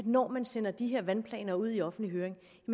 når man sender de her vandplaner ud i offentlig høring